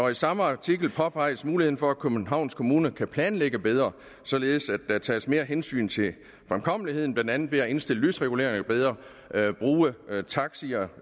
i samme artikel påpeges muligheden for at københavns kommune kan planlægge bedre således at der tages mere hensyn til fremkommeligheden blandt andet ved at indstille lysreguleringerne bedre lade taxier